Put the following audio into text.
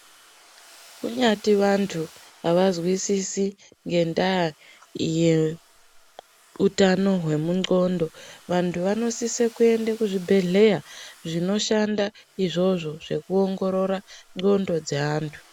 Kunyati vanhu avazwisisi ngendaa yeutano hwemundxondo ,vanhu vanosise kuende kuzvibhedhlera zvinoshanda izvozvo zvekuongorora ndxondo dzeanhu.